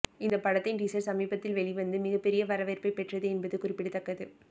இந்த படத்தின் டீசர் சமீபத்தில் வெளிவந்து மிகப்பெரிய வரவேற்பை பெற்றது என்பது குறிப்பிடத்தக்கது